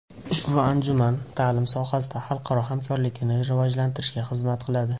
Ushbu anjuman ta’lim sohasida xalqaro hamkorlikni rivojlantirishga xizmat qiladi.